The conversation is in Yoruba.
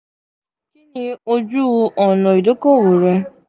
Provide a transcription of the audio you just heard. kini oju-ọna idoko-owo rẹ?